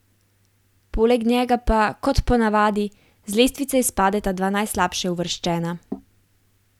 Poleg njega pa, kot ponavadi, z lestvice izpadeta dva najslabše uvrščena.